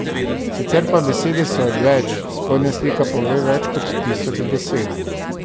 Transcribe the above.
Sicer pa besede so odveč, spodnja slika pove več kot tisoč besed.